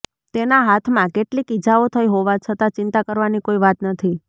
તેના હાથમાં કેટલીક ઇજાઓ થઈ હોવા છતાં ચિંતા કરવાની કોઈ વાત નથી